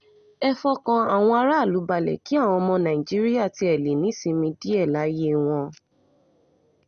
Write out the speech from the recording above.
ẹ fọkàn àwọn aráàlú balẹ̀ kí àwọn ọmọ nàìjíríà tiẹ̀ lè nísinmi díẹ̀ láyé wọn